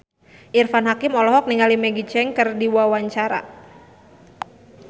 Irfan Hakim olohok ningali Maggie Cheung keur diwawancara